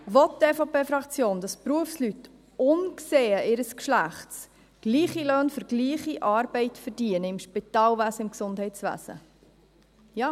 Will die EVP-Fraktion, dass Berufsleute unbesehen ihres Geschlechts gleiche Löhne für gleiche Arbeit im Spitalwesen, im Gesundheitswesen verdienen?